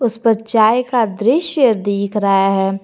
उस पर चाय का दृश्य दीख रहा है।